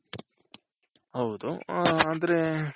ಹೌದು ಆದ್ರೆ